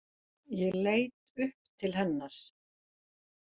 Ég leit upp til hennar.